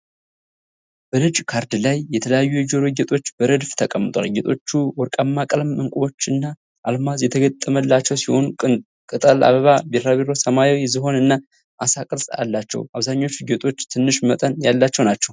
በነጭ ካርድ ላይ የተለያዩ የጆሮ ጌጦች በረድፍ ተቀምጠዋል። ጌጦቹ ወርቃማ ቀለም፣ ዕንቁዎች እና አልማዝ የተገጠመላቸው ሲሆን፣ ቅጠል፣ አበባ፣ ቢራቢሮ፣ ሰማያዊ ዝሆን እና አሳ ቅርፅ አላቸው። አብዛኞቹ ጌጦች ትንሽ መጠን ያላቸው ናቸው።